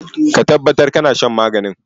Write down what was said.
Ka tabbatar da kana shan maganin!